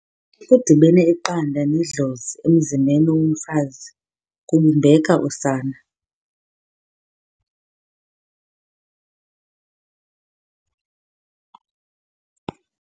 kudibene iqanda nedlozi emzimbeni womfazi kubumbeka usana.